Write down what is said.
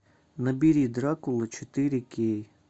набери дракула четыре кей